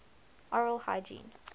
oral hygiene